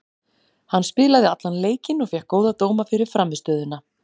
Hann spilaði allan leikinn og fékk góða dóma fyrir frammistöðuna.